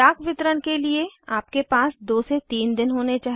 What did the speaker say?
डाक वितरण के लिए आपके पास 2 3 दिन होने चाहिए